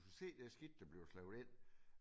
Du skulle se det skidt der bliver slæbt ind